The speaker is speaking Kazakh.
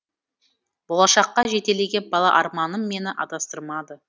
болашаққа жетелеген бала арманым мені адастырмады